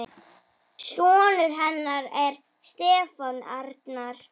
Sonur hennar er Stefán Arnar.